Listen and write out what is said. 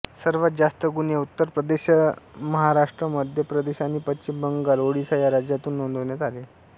सर्वांत जास्त गुन्हे उत्तर प्रदेशमहाराष्ट्रमध्य प्रदेश पश्चिम बंगाल आणि ओडिशा या राज्यातून नोंदवण्यात आले